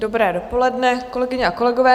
Dobré dopoledne, kolegyně a kolegové.